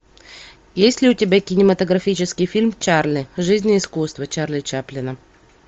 есть ли у тебя кинематографический фильм чарли жизнь и искусство чарли чаплина